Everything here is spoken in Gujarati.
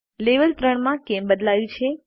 લેવલ 3 માં કેમ બદલાયું છે